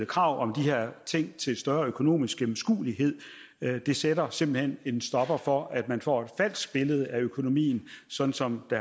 krav om større økonomisk gennemskuelighed det sætter simpelt hen en stopper for at man får et falsk billede af økonomien sådan som det